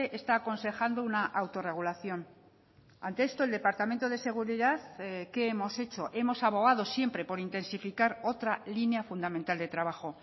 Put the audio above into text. está aconsejando una autorregulación ante esto el departamento de seguridad qué hemos hecho hemos abogado siempre por intensificar otra línea fundamental de trabajo